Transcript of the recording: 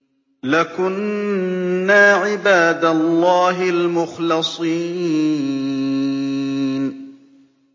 لَكُنَّا عِبَادَ اللَّهِ الْمُخْلَصِينَ